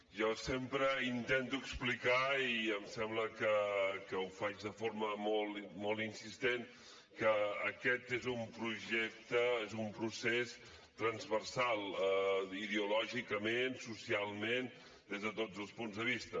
jo sempre intento explicar i em sembla que ho faig de forma molt insistent que aquest és un projecte és un procés transversal ideològicament socialment des de tots els punts de vista